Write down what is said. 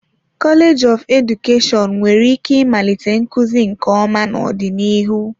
Kọleji of Edukeshọn nwere ike ịmalite nkuzi nke ọma n'ọdịnihu.